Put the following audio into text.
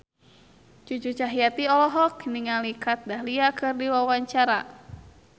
Cucu Cahyati olohok ningali Kat Dahlia keur diwawancara